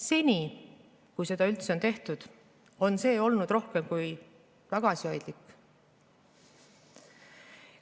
Seni, kui seda üldse on tehtud, on see olnud rohkem kui tagasihoidlik.